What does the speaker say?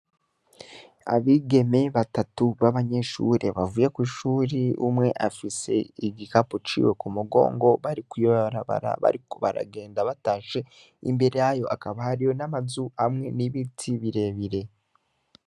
Abigeme batatu b'abanyeshure bavuye kw'ishure, umwe afise igikapo ciwe ku mugongo, bari kw'ibarabara bariko baragenda batashe. Imbere yabo hakaba hariho n'amazu hamwe n'ibiti birebire.